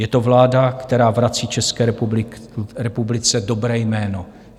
Je to vláda, která vrací České republice dobré jméno.